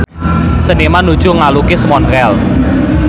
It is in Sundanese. Seniman nuju ngalukis Montreal